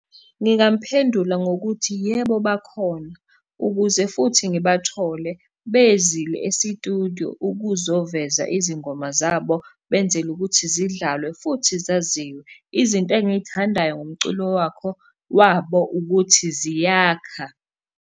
Ngingamuphendula ngokuthi yebo, bakhona ukuze futhi ngibathole bezile esitudiyo ukuzoveza izingoma zabo benzela ukuthi zidlale futhi zaziwe. Izinto engiy'thandayo ngomculo wakho wabo ukuthi ziyakha.